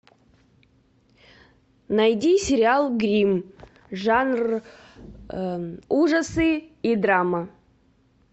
найди сериал гримм жанр ужасы и драма